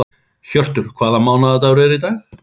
Hjörtur, hvaða mánaðardagur er í dag?